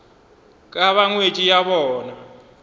ka ba ngwetši ya bona